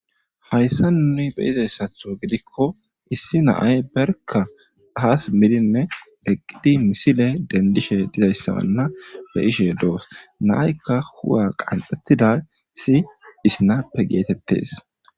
hayssa nuni be izayssatho gidikko issi naay berka aas mininne eqqidi misile dendishe dizayssabanna be ishe doos naaykka huwa qanxxettida si isnappe geetettes